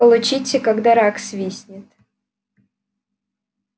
получите когда рак свистнет